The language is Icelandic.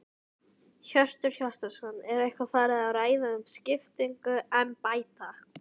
Hjörtur Hjartarson: Er eitthvað farið að ræða um skiptingu embætta?